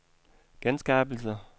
genskabelse